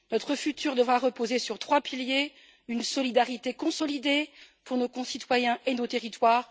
Notre avenir devra reposer sur trois piliers une solidarité consolidée pour nos concitoyens et nos territoires